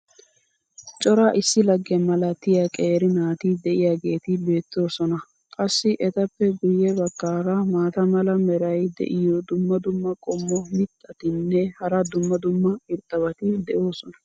cora issi lagge malatiya qeeri naati diyaageeti beetoosona. qassi etappe guye bagaara maata mala meray diyo dumma dumma qommo mitattinne hara dumma dumma irxxabati de'oosona.